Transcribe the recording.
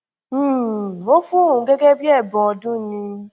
um ó fún òun gẹgẹ bíi ẹbùn ọdún ni